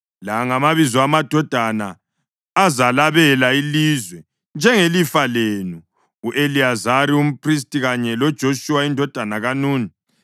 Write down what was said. “La ngamabizo amadoda azalabela ilizwe njengelifa lenu: u-Eliyazari umphristi kanye loJoshuwa indodana kaNuni.